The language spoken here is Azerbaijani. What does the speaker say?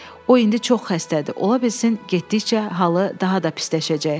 O indi çox xəstədir, ola bilsin getdikcə halı daha da pisləşəcək.